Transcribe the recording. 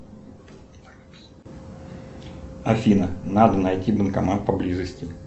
афина надо найти банкомат поблизости